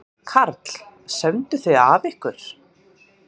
Karl: Sömdu þið af ykkur?